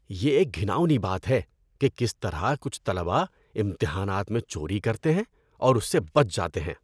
یہ ایک گھناؤنی بات ہے کہ کس طرح کچھ طلباء امتحانات میں چوری کرتے ہیں اور اس سے بچ جاتے ہیں۔